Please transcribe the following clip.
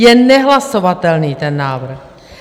Je nehlasovatelný ten návrh!